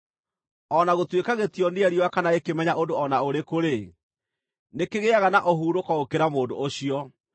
O na gũtuĩka gĩtionire riũa kana gĩkĩmenya ũndũ o na ũrĩkũ-rĩ, nĩkĩgĩaga na ũhurũko gũkĩra mũndũ ũcio: